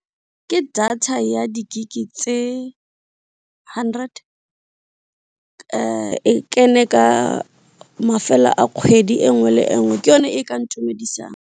Ke data ya di gig tse hundred ka e kene ka mafelo a kgwedi engwe le engwe ke yone e ka ntumedisang.